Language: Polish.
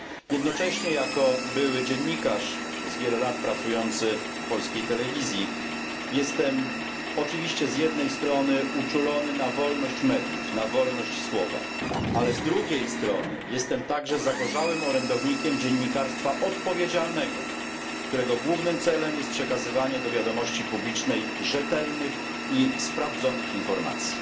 Jednocześnie jako były dziennikarz przez wiele lat pracujący w polskiej telewizji jestem oczywiście z jednej strony uczulony na wolność mediów, na wolność słowa, ale z drugiej strony jestem także zagorzałym orędownikiem dziennikarstwa odpowiedzialnego, którego głównym celem jest przekazywanie do wiadomości publicznej rzetelnych i sprawdzonych informacji.